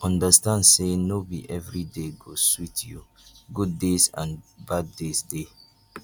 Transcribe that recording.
understand say no be everyday go sweet you good days and bad days de